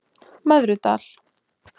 Möðrudal